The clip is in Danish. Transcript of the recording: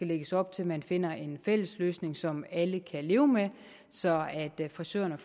lægges op til at man finder en fælles løsning som alle kan leve med så frisørerne